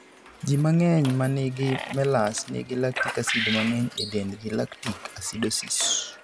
Ji mang'eny ma nigi MELAS nigi lactic acid mang'eny e dendgi (lactic acidosis).